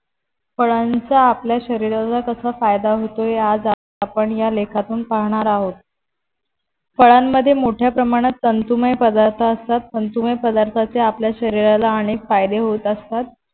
फळांचा आपल्या शरीराला कसा फायदा होतो हे आज आपण ह्या लेखातून पाहणार आहोत फळाण मध्ये मोठ्या प्रमाणात तंतुमय पदार्थ असतात तंतुमय पदार्थाचे आपल्या शरीराला याने फायदे होत असतात.